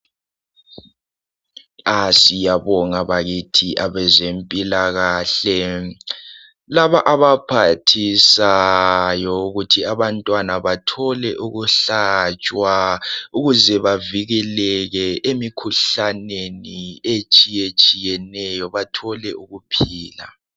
Asiyabonga pbakithi ezempilakahle laba abaphathisayo ukuthi abantwana bathole ukuhlatshwa ukuze bavikeleke emikhuhlaneni etshiyetshiyeneyo bathole ukuphila.